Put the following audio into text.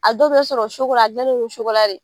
A dɔw bɛ sɔrɔ a gilannen don ni de